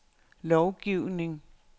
lovgivning